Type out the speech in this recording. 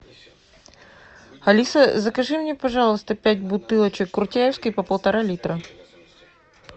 алиса закажи мне пожалуйста пять бутылочек куртяевской по полтора литра